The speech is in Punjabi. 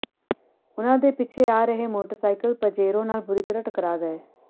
ਉਨ੍ਹਾਂ ਦੇ ਪਿੱਛੇ ਤੋਂ ਆ ਰਹੇ ਮੋਟਰਸਾਇਕਲ ਪਜੇਰੋ ਨਾਲ਼ ਬੁਰੀ ਤਰ੍ਹਾਂ ਟਕਰਾ ਗਏ